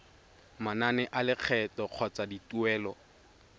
manane a lekgetho kgotsa dituelo